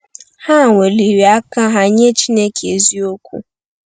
Ha weliri aka ha nye Chineke eziokwu.